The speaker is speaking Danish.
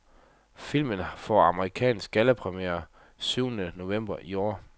Filmen får amerikansk gallapremiere syvende november i år.